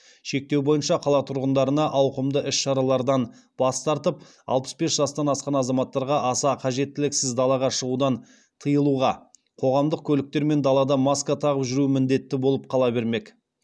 шектеу бойынша қала тұрғындарына ауқымды іс шаралардан бас тартып алпыс бес жастан асқан азаматтарға аса қажеттіліксіз далаға шығудан тыйылуға қоғамдық көліктер мен далада маска тағып жүру міндетті болып қала бермек